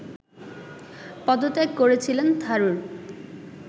পদত্যাগ করেছিলেন থারুর